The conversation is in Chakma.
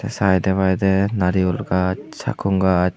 saitepai tey nariyul gaj sakkong gaj.